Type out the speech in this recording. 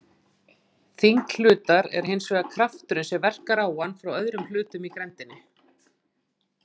Þyngd hlutar er hins vegar krafturinn sem verkar á hann frá öðrum hlutum í grenndinni.